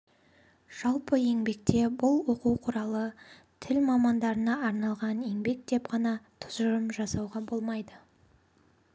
жалпы еңбекте бұл оқу құралы тіл мамандарына арналған еңбек деп қана тұжырым жасауға болмайды